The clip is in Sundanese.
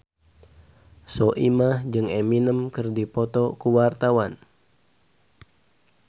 Soimah jeung Eminem keur dipoto ku wartawan